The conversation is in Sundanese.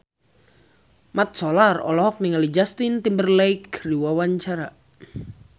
Mat Solar olohok ningali Justin Timberlake keur diwawancara